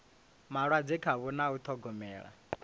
malwadze khavho na u ṱhogomela